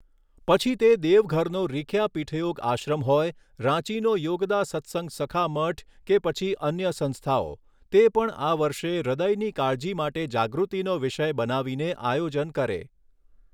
પછી તે દેવઘરનો રીખ્યા પીઠયોગ આશ્રમ હોય, રાંચીનો યોગદા સત્સંગ સખા મઠ કે પછી અન્ય સંસ્થાઓ તે પણ આ વર્ષે હૃદયની કાળજી માટે જાગૃતિનો વિષય બનાવીને આયોજન કરે.